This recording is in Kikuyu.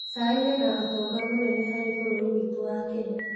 Cai wĩna ũtonga mũnene harĩ bũrũri witũ wa Kenya.